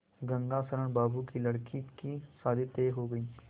गंगाशरण बाबू की लड़की की शादी तय हो गई